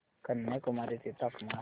कन्याकुमारी चे तापमान